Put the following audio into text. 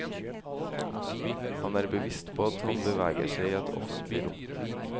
Han er bevisst på at han beveger seg i et offentlig rom.